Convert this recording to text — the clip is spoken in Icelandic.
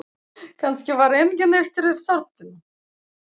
Kannski var enginn eftir í þorpinu.